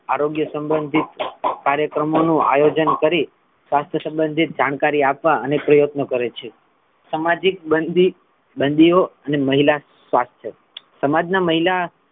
આરોગ્ય સબંધિત કાર્યક્રમો નું આયોજન કરી સ્વાસ્થ્ય સબંધી જાણકારી આપવા પ્રત્યનો કરે છે સામાજિક બંદી ~બંદિયોં અને મહિલા સ્વાસ્થ્ય સમાજ ના મહિલા,